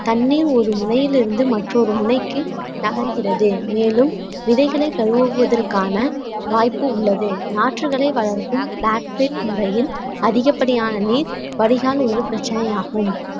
தண்ணீர் ஒரு முனையில் இருந்து மற்றொரு முனைக்கு தகர்கிறது மேலும் விதைகளை கழுவுவதற்கான வாய்ப்பு உள்ளது நாற்றுகளை வளர்க்கும் முறையில் அதிகப்படியான நீர் வடிகால் ஒரு பிரச்சனை ஆகும்